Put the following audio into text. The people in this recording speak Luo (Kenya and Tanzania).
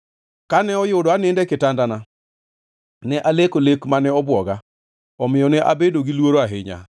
Kane oyudo anindo e kitandana, ne aleko lek mane obwoga, omiyo ne abedo gi luoro ahinya.